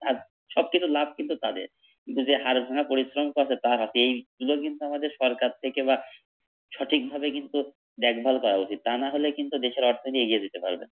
সব কিছুর লাভ কিন্তু তাদের কিন্তু যে হাড়ভাঙ্গা পরিশ্রম করছে তার হাতে এইগুলা কিন্তু আমাদের সরকার থেকে বা সঠিক ভাবে কিন্তু দেখভাল করা উচিত তা না হলে কিন্তু দেশের অর্থনীতি এগিয়ে যেতে পারবে না ।